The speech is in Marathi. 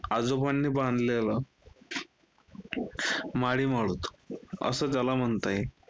आजोबांनी बांधलेलं माळी अस त्याला म्हणता येईल.